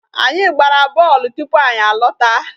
Anyị gbara bọọlụ tupu anyị lọta.